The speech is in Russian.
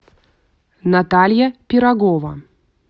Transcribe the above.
наталья пирогова